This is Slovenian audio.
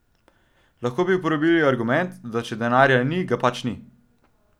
Lahko bi uporabili argument, da če denarja ni, ga pač ni.